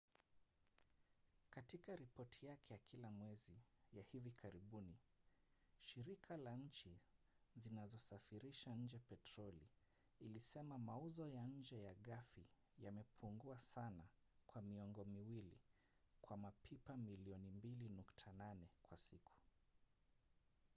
katika ripoti yake ya kila mwezi ya hivi karibuni shirika la nchi zinazosafirisha nje petroli ilisema mauzo ya nje ya ghafi yamepungua sana kwa miongo miwili kwa mapipa milioni 2.8 kwa siku